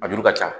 A juru ka ca